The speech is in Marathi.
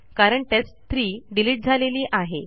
कारण टेस्ट3 डिलीट झालेली आहे